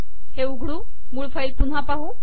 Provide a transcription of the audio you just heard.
हे उघडू मूळ फाईल पुन्हा पाहू